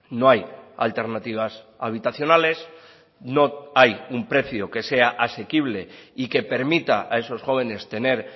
no hay alternativas habitacionales no hay un precio que sea asequible y que permita a esos jóvenes tener